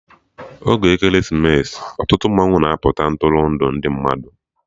Oge Ekeresimesi, ọtụtụ mmanwụ na-apụta Ntụrụndụ ndị mmadụ